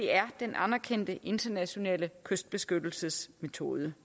er den anerkendte internationale kystbeskyttelsesmetode